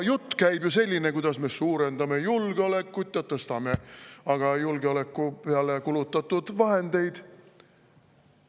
Jutt käib sellest, kuidas me suurendame julgeolekut ja tõstame julgeoleku peale kulutatud vahendeid.